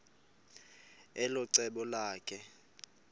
elo cebo lakhe